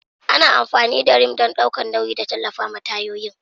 Ana amfani da Rim don ɗaukar nauyi da tallafawa tayoyin.